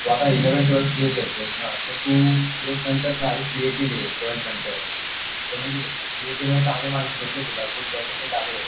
तू आता eleventh twelfth घेतलं ना, तर तू सी ए टी दे ट्वेल्थ नंतर तर मग सी ए टी मध्ये चांगले पर्सेंटेज भेटले तुला गुड पर्सेंटेज आले